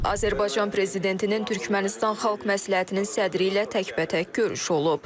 Azərbaycan Prezidentinin Türkmənistan Xalq Məsləhətinin sədri ilə təkbətək görüşü olub.